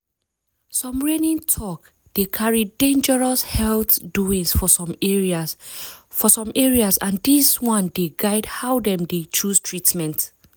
some reigning talk dey carry dangerous health doings for some areas for some areas and dis one dey guide how dem dey chose treatment.